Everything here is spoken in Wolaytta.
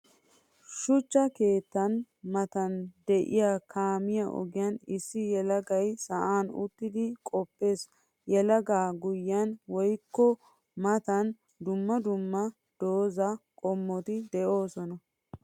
Shuchcha keettan matan de'iya kaamiya ogiyan issi yelagay sa'an uttiddi qoppees. Yelaga guyen woykko matan dumma dumma doozaa qommotto de'osonna.